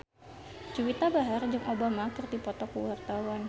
Juwita Bahar jeung Obama keur dipoto ku wartawan